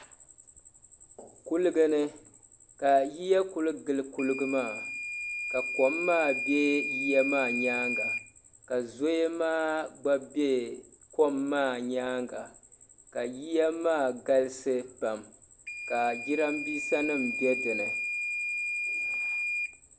Kuliga ni ka yiya kuli gili kuliga maa ka kom maa be yiya maa nyaanga ka zoya maa gba be kom maa nyaanga ka yiya maa galisi pam ka jirambisa nima be dinni.